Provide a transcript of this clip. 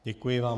Děkuji vám.